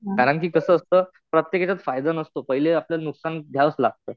कारण कि कसं असतं, प्रत्येक याच्यात फायदा नसतो. पहिले आपल्याला नुकसान घ्यावंच लागतं.